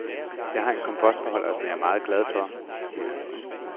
Jeg har en kompostbeholder, som jeg er meget glad for, siger han.